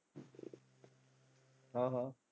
ਹਾਂ ਹਾਂ।